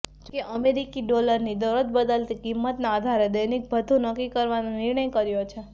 જોકે અમેરિકી ડોલરની દરરોજ બદલતી કિંમતના આધારે દૈનિક ભથ્થું નક્કી કરવાનો નિર્ણય કર્યો છે